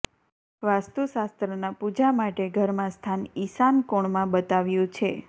વાસ્તુશાસ્ત્રના પુજા માટે ઘરમાં સ્થાન ઈશાન કોણમાં બતાવ્યુ છે